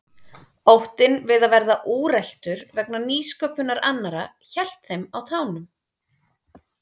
Óttinn við að verða úreltur vegna nýsköpunar annarra héldi þeim á tánum.